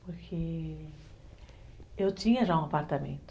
Porque eu tinha já um apartamento.